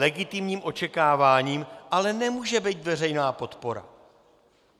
Legitimním očekáváním ale nemůže být veřejná podpora.